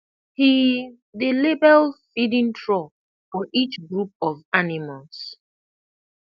he dey label feeding trough for each group of animals